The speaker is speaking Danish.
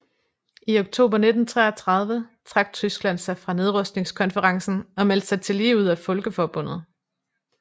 I oktober 1933 trak Tyskland sig fra nedrustningskonferencen og meldte sig tillige ud af Folkeforbundet